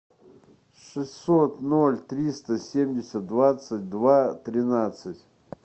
шестьсот ноль триста семьдесят двадцать два тринадцать